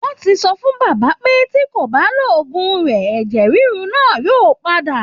Wọ́n ti sọ fún baba pé tí kò bá lòògùn rẹ̀ ẹ̀jẹ ríru náa yóò pa á